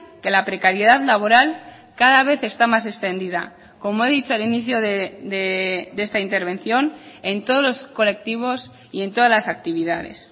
que la precariedad laboral cada vez está más extendida como he dicho al inicio de esta intervención en todos los colectivos y en todas las actividades